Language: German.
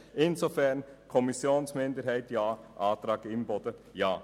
Insofern sagen wir Kommissionsminderheit Ja, Antrag Imboden Ja.